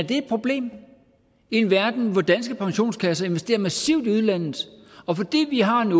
det et problem i en verden hvor danske pensionskasser investerer massivt i udlandet og fordi vi har en